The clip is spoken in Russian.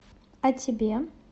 а тебе